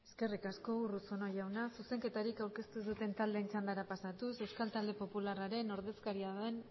eskerrik asko urruzuno jauna zuzenketarik aurkeztu ez duten taldeen txandara pasatuz euskal talde popularraren ordezkaria den